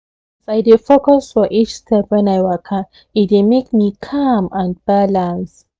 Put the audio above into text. as i dey focus for each step when i waka e dey make me calm and balance